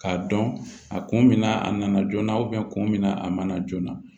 K'a dɔn a kun bɛ na a nana joona kun min na a mana joona